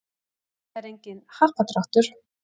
Þetta er enginn happadráttur